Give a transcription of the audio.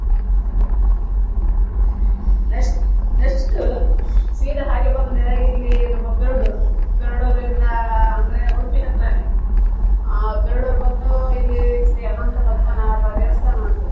Next next ಸೀದಾ ಹಾಗೆ ಬಂದ ಇಲ್ಲಿ ನಮ್ಮ Perdoor Perdoor ಇಂದ ಅಂದ್ರೆ Udupi ಹತ್ರನೇ ಆ Perdoor ಬಂದು ಇಲ್ಲಿ ಶ್ರೀ ಅನಂತ ಪದ್ಮನಾಭ ದೇವಸ್ಥಾನ ಉಂಟು.